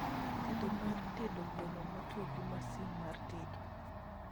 tedo mar tedo gweno motwo gi masin mar tedo